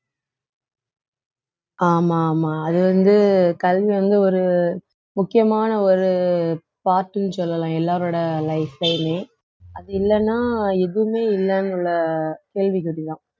ஆமா ஆமா அது வந்து கல்வி வந்து ஒரு முக்கியமான ஒரு part ன்னு சொல்லலாம் எல்லாரோட life லயுமே அது இல்லைன்னா எதுவுமே இல்லைன்னு உள்ள கேள்விக்குறிதான்